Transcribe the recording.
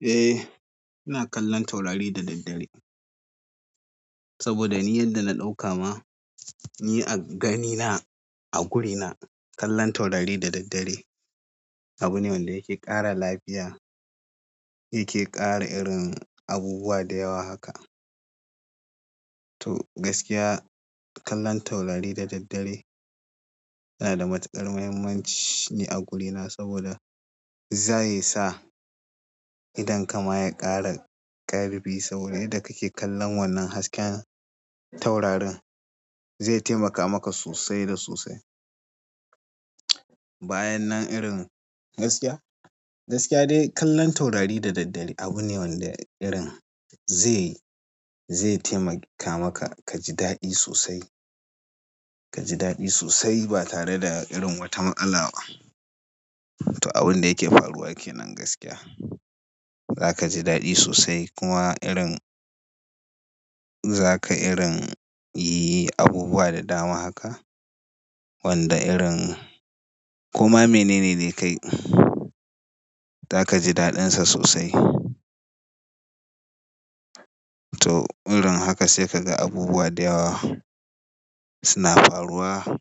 Eh, ina kallon taurari da daddare. Saboda ni yanda na ɗauka ma, ni a gani na a gurina kallon taurari da daddare abune wanda yake ƙara lafiya, yake ƙara irin abubuwa da yawa haka. To gaskiya kallon taurari da daddare yana da matuƙar muhimmanci ne a gurina saboda za yi ya sa idonka ma ya ƙara ƙarfi. Saboda yadda kake kallon wannan hasken taurarin zai taimaka maka sosai da sosai. Bayanan irin gaskiya, gaskiya dai kallon taurari da daddare abu ne wanda irin zai, zai taimaka maka ka ji daɗi sosai, ka ji daɗi sosai ba tare da irin wata matsala ba. To abun da yake faruwa ke nan gaskiya. Za ka ji daɗi sosai kuma irin za ka irin yi abubuwa da dama haka. Wanda irin koma mene ne dai kai za ka ji daɗinsa sosai. To irin haka sai ka ga abubuwa da yawa suna faruwa.